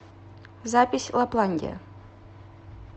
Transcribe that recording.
запись лапландия